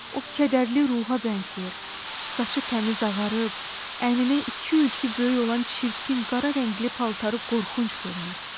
O kədərli ruha bənzəyir, saçı təmiz ağarıb, əyninə iki ölçü böyük olan çirkin qara rəngli paltarı qorxunc görünür.